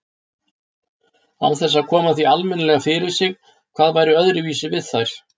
Án þess að koma því almennilega fyrir sig hvað væri öðruvísi við þær.